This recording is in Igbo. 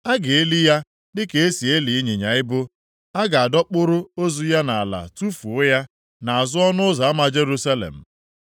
A ga-eli ya dịka e si eli ịnyịnya ibu. A ga-adọkpụrụ ozu ya nʼala tufuo ya nʼazụ ọnụ ụzọ ama Jerusalem.”